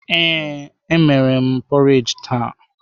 Ee, emere m porridge taa.